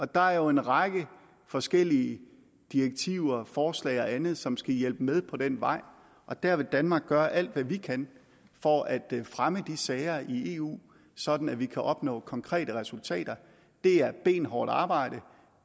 der er en række forskellige direktiver forslag og andet som skal hjælpe med på den vej og der vil danmark gøre alt hvad vi kan for at fremme de sager i eu sådan at vi kan opnå konkrete resultater det er benhårdt arbejde